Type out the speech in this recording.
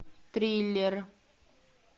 триллер